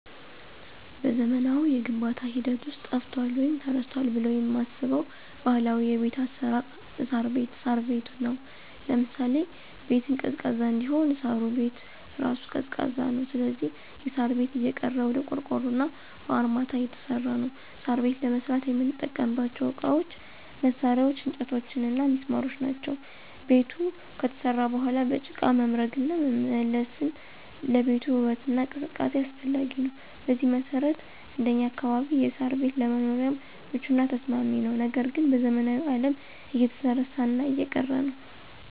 በዘመናዊው የግንባታ ሂደት ውስጥ ጠፍቷል ወይም ተረስቷል ብለው የማስበው ባህላዊ የቤት አሰራር እሳር ቤት(ሳር ቤት) ነው። ለምሳሌ -ቤቱን ቀዝቃዛ እንዲሆን እሳሩ ቤት እራሱ ቀዝቃዛ ነው ስለዚህ የሳር ቤት እየቀረ ወደ ቆርቆሮና በአርማታ እየተሰራ ነው። ሳር ቤት ለመስራት የምንጠቀምባቸው እቃዎች፣ መሳርያ፣ እንጨቶችና ሚስማሮች ናቸው። ቤቱ ከተሰራ በኋላ በጭቃ መምረግና መለሰን ለቤቱ ውበትና ቅዝቃዜ አስፈላጊ ነው። በዚህ መሰረት እንደኛ አካባቢ የሳር ቤት ለመኖሪያም ምቹና ተስማሚ ነው ነገር ግን በዘመናዊው አለም እየተረሳና እየቀረ ነው።